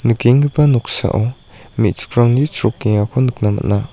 nikenggipa noksao me·chikrangni chrokengako nikna man·a.